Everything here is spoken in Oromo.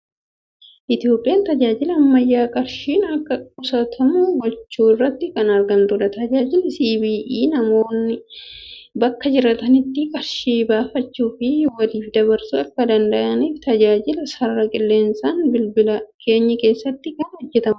Itoophiyaan tajaajila ammayyaan qarshiin akka qusatamu gochuu irratti kan argamtudha. Tajaajilli CBE namoonni bakka jiraatanitti qarshii baafachuu fi waliif dabarsuu akka danda'aniif, tajaajila sarara qilleensaan bilbila keenya keessatti kan hojjetudha.